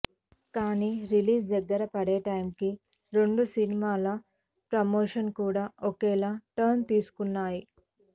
కానీ రిలీజ్ దగ్గర పడే టైంకి రెండు సినిమాల ప్రమోషన్స్ కూడా ఒకేలా టర్న్ తీసుకున్నాయి